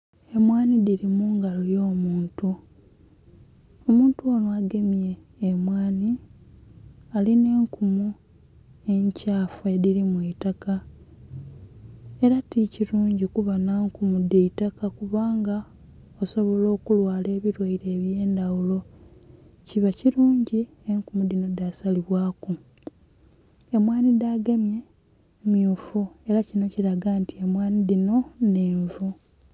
Emwanhi dhili mu ngalo y'omuntu. Omuntu onho agemye emwanhi alinha enkumu enkyafu edhilimu eitaka, ela ti kilungi kuba nha nkumu dha itaka kubanga osobola okulwala ebilwaire eby'endhaghulo. Kiba kilungi enkumu dhino dhasalibwaku. Emwanhi dhagemye mmyufu ela kinho kilaga nti emwanhi dhino nnhenvu.